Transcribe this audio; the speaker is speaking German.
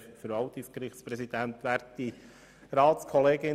Kommissionspräsident der FiKo.